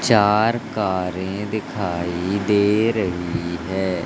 चार कारें दिखाई दे रही हैं।